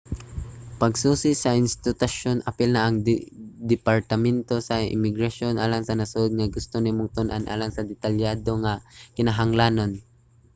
pagsusi sa institusyon apil na ang departamento sa imigrasyon alang sa nasud nga gusto nimong tun-an alang sa detalyado nga mga kinahanglanon